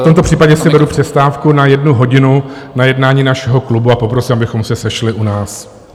V tomto případě si beru přestávku na jednu hodinu na jednání našeho klubu a poprosím, abychom se sešli u nás.